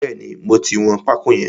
Bẹ́ẹ̀ni, mo ti wọn pákó yẹn.